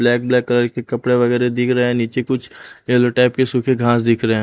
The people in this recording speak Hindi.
ब्लैक ब्लैक कलर के कपड़े वगैरह दिख रहे हैं नीचे कुछ येलो टाइप के सूखे घास दिख रहे हैं।